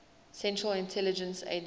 central intelligence agency